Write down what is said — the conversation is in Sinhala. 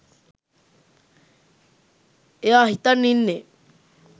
එයා හිතන් ඉන්නේ